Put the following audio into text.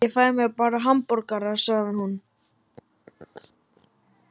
Ég fæ mér bara hamborgara, sagði hún.